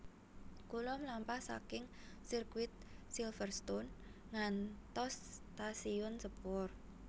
Kula mlampah saking sirkuit Silverstone ngantos stasiun sepur